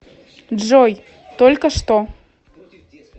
джой только что